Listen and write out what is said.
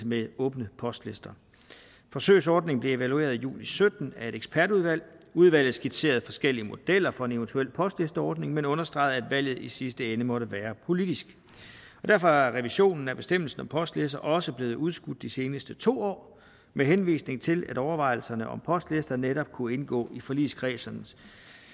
med åbne postlister forsøgsordningen blev evalueret i juli sytten af et ekspertudvalg udvalget skitserede forskellige modeller for en eventuel postlisteordning men understregede at valget i sidste ende måtte være politisk derfor er revisionen af bestemmelsen om postlister også blevet udskudt de seneste to år med henvisning til at overvejelserne om postlister netop kunne indgå i forligskredsdrøftelserne